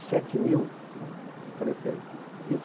e sete mil! Eu falei para ele.